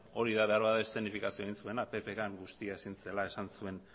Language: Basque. hori da beharbada eszenifikazioa egin zuen ppk han guztia ezin zela esan zuen